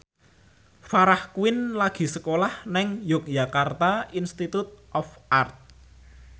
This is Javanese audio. Farah Quinn lagi sekolah nang Yogyakarta Institute of Art